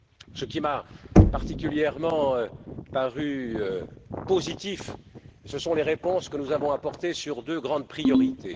Ce qui m'a paru particulièrement positif, ce sont les réponses que nous avons apportées sur deux grandes priorités.